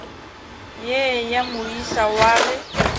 ye ya moisa wa ge